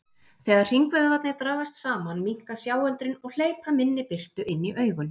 Þegar hringvöðvarnir dragast saman minnka sjáöldrin og hleypa minni birtu inn í augun.